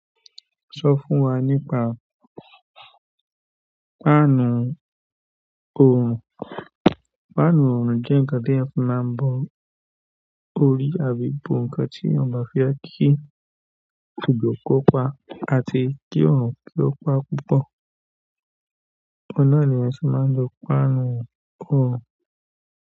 Sọ fún wa nípa páànù oòrùn. Páànù oòrùn jẹ́ ǹkan tí èèyàn fi máa ń bo orí àbí bo ǹkan tí èèyàn bá fẹ́ kí òjò kó pa àti kí oòrùn kó pa púpọ̀. Ọ̀pọ̀lọpọ̀ ènìyàn sì máa ń lo páànù oòrùn.